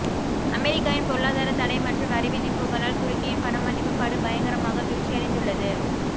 அமெரிக்காவின் பொருளாதாரத்தடை மற்றும் வரிவிதிப்புகளால் துருக்கியின் பணமதிப்புப் படுபயங்கரமாக வீழ்ச்சியடைந்துள்ளது